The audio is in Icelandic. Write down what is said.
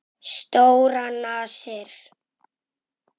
Stórar nasir.